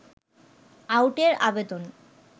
আউটের আবেদন